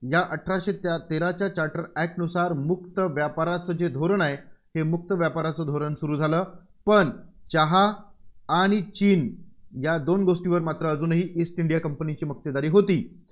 या अठराशे तेराच्या charter act नुसार मुक्त व्यापाराचे जे धोरण आहे, हे मुक्त व्यापाराचे धोरण सुरू झालं. पण चहा आणि चीन या दोन गोष्टीवर मात्र अजूनही ईस्ट इंडिया कंपनीची मक्तेदारी होती.